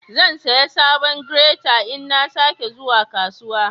Zan siya sabon "greater" in na sa ke zuwa kasuwa.